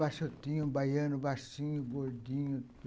Baixotinho, baiano, baixinho, gordinho.